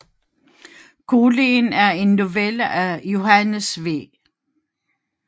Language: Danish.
Kulien er en novelle af Johannes V